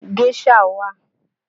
Géṣà wà